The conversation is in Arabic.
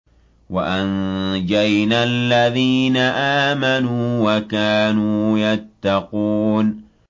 وَأَنجَيْنَا الَّذِينَ آمَنُوا وَكَانُوا يَتَّقُونَ